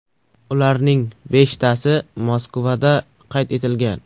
Ularning beshtasi Moskvada qayd etilgan.